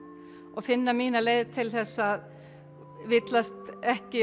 og finna mína leið til að villast ekki